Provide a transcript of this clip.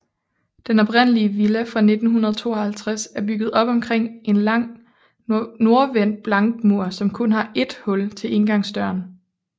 Den oprindelige villa fra 1952 er bygget op omkring en lang nordvendt blankmur som kun har ét hul til indgangsdøren